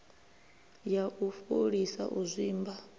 ya u fholisa u zwimba